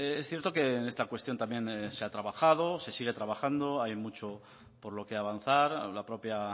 es cierto que en esta cuestión también se ha trabajado se sigue trabajando hay mucho por lo que avanzar la propia